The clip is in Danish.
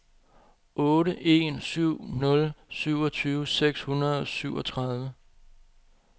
otte en syv nul syvogtyve seks hundrede og syvogtredive